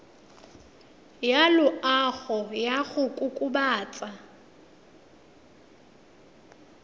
ya loago ya go kokobatsa